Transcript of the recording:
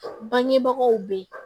Bangebagaw bɛ ye